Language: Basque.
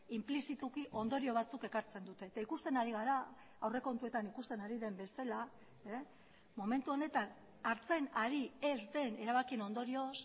inplizituki ondorio batzuk ekartzen dute eta ikusten ari gara aurrekontuetan ikusten ari den bezala momentu honetan hartzen ari ez den erabakien ondorioz